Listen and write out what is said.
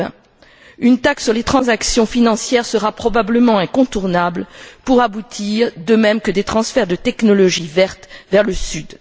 2020. Une taxe sur les transactions financières sera probablement incontournable pour aboutir, de même que des transferts de technologie verte vers le Sud.